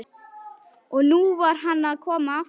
Og nú var hann að koma aftur!